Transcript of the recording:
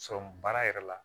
baara yɛrɛ la